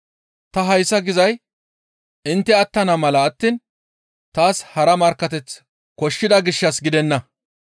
Ta hayssa gizay intte attana mala attiin taas hara markkateth koshshida gishshas gidenna.